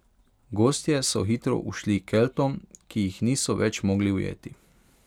Gostje so hitro ušli Keltom, ki jih niso več mogli ujeti.